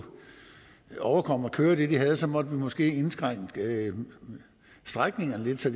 overkomme at køre det de havde så måtte vi måske indskrænke strækningerne lidt så